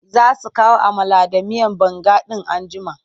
Za su kawo amala da miyar banga in an jima.